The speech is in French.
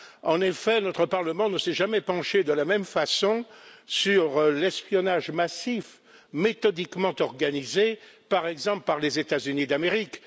En effet, notre Parlement ne s'est jamais penché de la même façon sur l'espionnage massif méthodiquement organisé, par exemple, par les États Unis d'Amérique.